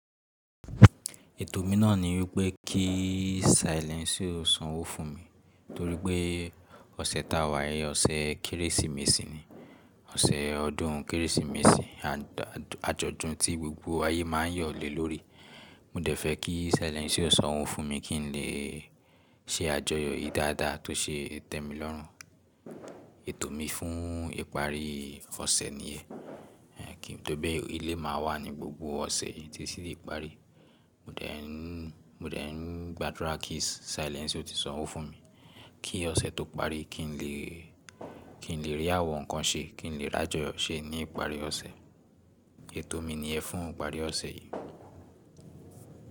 Ètò mi náà ni wípé kí Silence o sanwó fún mi torí pé ọ̀sẹ̀ ta wà yẹn ọ̀sẹ̀ Kérésìmesì ni. Ọ̀sẹ̀ ọdún Kérésìmesì àjọ̀dún tí gbogbo ayé má ń yọ̀lé lórí. Mo dẹ̀ fẹ́ kí Silence o sanwó fún mi kí n lè ṣe àjọyọ̀ yìí dáadáa tó ṣe ń tẹ́mi lọ́rùn. Ètò mi fún ìparí ọ̀sẹ̀ nìyẹn. Kí to pe ilé máa wà ní gbogbo ọ̀sẹ̀ yí tí sì lè parí. Mo dẹ̀ ń, mo dẹ̀ ń gbàdúrà kí Silence o ti sanwó fún mi kí ọ̀sẹ̀ tó parí kí n lè, kí n lè rí àwọn nǹkan ṣe, kí n lè rí àjọyọ̀ ṣe ní ìparí ọ̀sẹ̀. Ètò mi nìyẹn fún ìparí ọ̀sẹ̀ yìí.